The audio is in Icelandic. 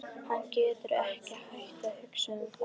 Hann getur ekki hætt að hugsa um það.